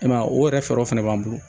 I m'a ye o yɛrɛ fɛɛrɛw fɛnɛ b'an bolo